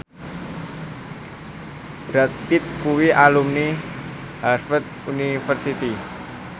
Brad Pitt kuwi alumni Harvard university